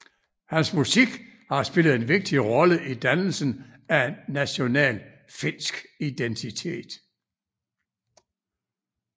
Hans musik har spillet en vigtig rolle i dannelsen af en national finsk identitet